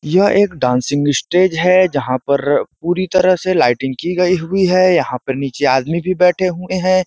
यह एक dancing stage है जहाँ पर पूरी तरह से लाइटिंग की गई हुई है। यहाँ पर नीचे आदमी भी बैठे हुए हैं।